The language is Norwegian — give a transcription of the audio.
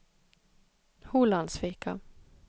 Holandsvika